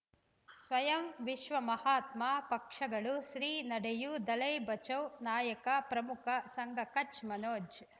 ಸ್ವಯಂ ವಿಶ್ವ ಮಹಾತ್ಮ ಪಕ್ಷಗಳು ಶ್ರೀ ನಡೆಯೂ ದಲೈ ಬಚೌ ನಾಯಕ ಪ್ರಮುಖ ಸಂಘ ಕಚ್ ಮನೋಜ್